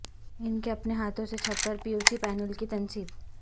ان کے اپنے ہاتھوں سے چھت پر پیویسی پینل کی تنصیب